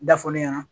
Da fɔlen ɲɛna